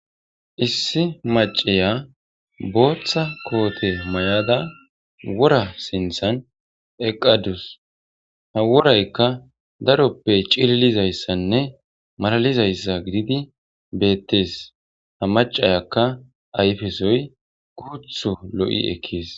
Issi maccaya bootha koote mayada wora sinthan eqqadus ha woraykka daroppe cililizayssanne malalizayssa gididi beettees.ha maccayakka ayfesoy guuthu lo7i ekkees.